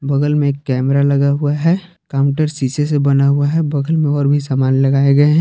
बगल में एक कैमरा लगा हुआ है काउंटर शीशे से बना हुआ है बगल में और भी सामान लगाए गए हैं।